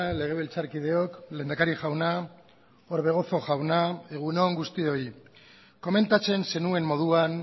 legebiltzarkideok lehendakari jauna orbegozo jauna egun on guztioi komentatzen zenuen moduan